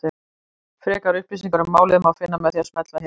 Frekari upplýsingar um málið má finna með því að smella hér.